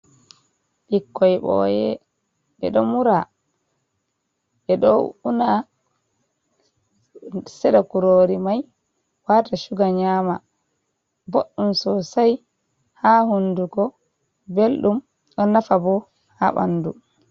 Bikkoi ɓoye, ɓeɗo mura ɓeɗo unna seɗa kurori mai wata suga nyama, boɗɗum sosai ha hunduko Belɗum, ɗo nafa bo ha ɓandu.